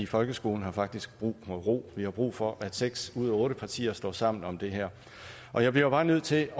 folkeskolen har faktisk brug for noget ro vi har brug for at seks ud af otte partier står sammen om det her og jeg bliver jo bare nødt til